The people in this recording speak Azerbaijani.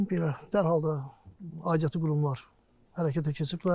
Belə, dərhal da aidiyyatı qurumlar hərəkətə keçiblər.